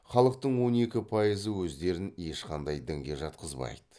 халықтың он екі пайызы өздерін ешкандай дінге жатқызбайды